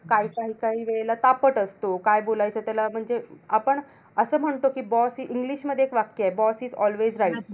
काही काही काही वेळेला तापट असतो. काय बोलायचं त्याला म्हणजे आपण असं म्हणतो कि boss is english मध्ये एक वाक्य आहे, कि boss is always right